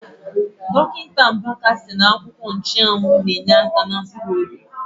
Dọkịta Mbaka sị na akwụkwọ ụzịza na- enyeaka na mkpuruobi.